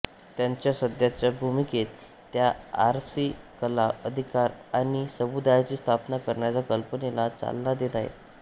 त्यांच्या सध्याच्या भूमिकेत त्या एआरसी कला अधिकार आणि समुदायाची स्थापना करण्याच्या कल्पनेला चालना देत आहेत